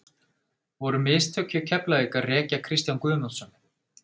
Voru mistök hjá Keflavík að reka Kristján Guðmundsson?